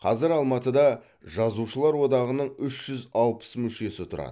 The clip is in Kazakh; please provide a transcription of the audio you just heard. қазір алматыда жазушылар одағының үш жүз алпыс мүшесі тұрады